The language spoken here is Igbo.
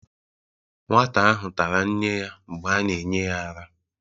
nwata ahụ tara nne ya mgbe a na-enye ya ara